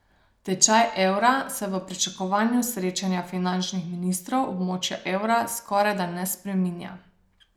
Tečaj evra se v pričakovanju srečanja finančnih ministrov območja evra skorajda ne spreminja.